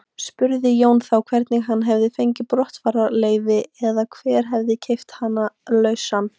Spurði Jón þá hvernig hann hefði fengið brottfararleyfi eða hver hefði keypt hann lausan.